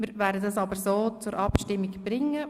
Wir werden dies aber so zur Abstimmung bringen.